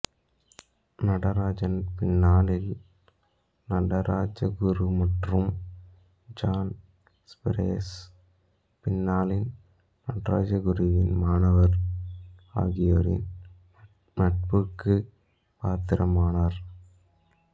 நடராஜன் பின்னாளில் நடராஜகுரு மற்றும் John Spiers பின்னாளின் நடராஜகுருவின் மாணவர் ஆகியோரின் நட்புக்கு பாத்திரமானார்